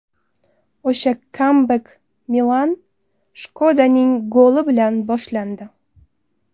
O‘sha kambek Milan Shkodaning goli bilan boshlandi.